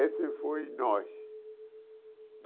Esse foi nós.